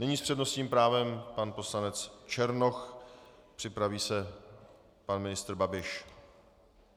Nyní s přednostním právem pan poslanec Černoch, připraví se pan ministr Babiš.